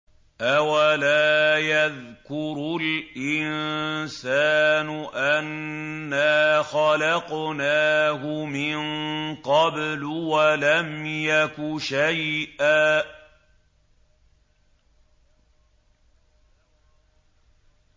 أَوَلَا يَذْكُرُ الْإِنسَانُ أَنَّا خَلَقْنَاهُ مِن قَبْلُ وَلَمْ يَكُ شَيْئًا